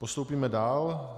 Postoupíme dál.